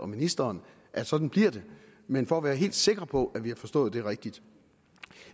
ministeren at sådan bliver det men for at være helt sikker på at vi har forstået det rigtigt